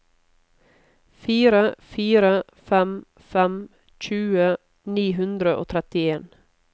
fire fire fem fem tjue ni hundre og trettien